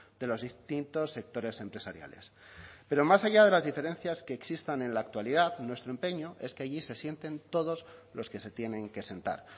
de los distintos sectores empresariales pero más allá de las diferencias que existan en la actualidad nuestro empeño es que allí se sienten todos los que se tienen que sentar